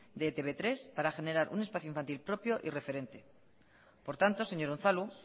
de etb hiru para generar un espacio infantil propio y referente por tanto señor unzalu